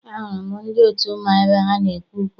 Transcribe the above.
Ahụrụ m ndị otu mmanwụ ebe ha na-ekwe ukwe.